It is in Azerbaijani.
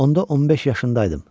Onda 15 yaşındaydım.